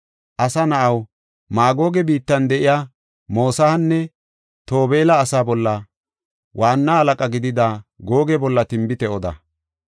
“Asa na7aw, Maagoge biittan de7iya Mosahanne Tobeela asaa bolla waanna halaqa gidida Googe bolla tinbite oda.